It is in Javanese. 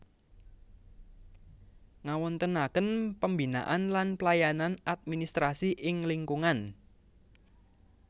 Ngawontenaken pembinaan lan pelayanan administrasi ing lingkungan